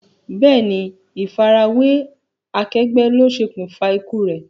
Bẹ́ẹ̀ni, ifa ara we akegbe lo ṣokunfa ikú re.